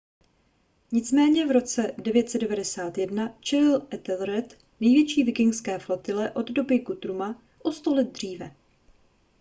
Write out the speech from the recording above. nicméně v roce 991 čelil ethelred největší vikingské flotile od doby guthruma o sto let dříve